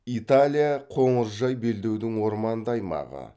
италия қоңыржай белдеудің орманды аймағы